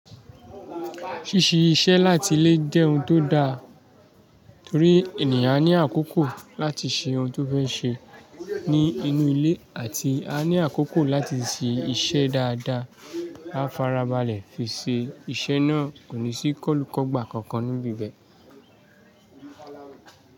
Ṣíṣe iṣẹ́ láti ilé jẹ́ ohun tó da torí ènìyàn ní àkókò láti ṣe ohun tó fẹ́ ṣe ní inú ilé àti a ní àkókò láti ṣe iṣẹ́ dáadáa, a fara balẹ̀ fi ṣe iṣẹ́ náà kò ní sí kọ́lukọ́gba kankan níbi bẹ́ẹ̀.